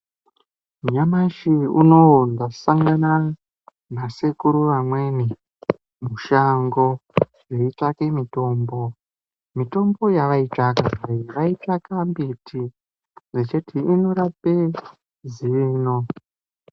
Nyamashi unowo ndashangana nasekuru vamweni mashango veyi tsvake mitombo. Mitombo yavaitsvaka iyi vaitsvaka mbiti vechiti inorape zino.